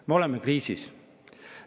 Me oleme kriisis.